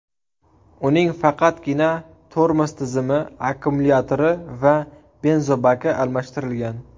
Uning faqatgina tormoz tizimi, akkumulyatori va benzobaki almashtirilgan.